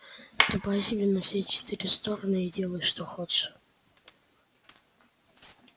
ступай себе на все четыре стороны и делай что хочешь